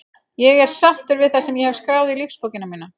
Ég er sáttur við það sem ég hef skráð í lífsbókina mína.